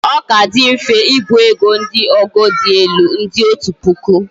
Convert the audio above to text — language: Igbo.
o Ka di mfe ibu ego ndi ogo di elu ndi otu puku